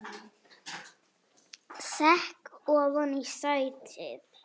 Sekk ofan í sætið.